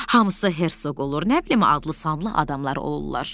Hamısı Herzoq olur, nə bilim, adlı-sanlı adamlar olurlar.